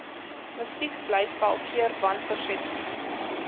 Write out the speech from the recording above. musiekblyspel keer wanpersepsies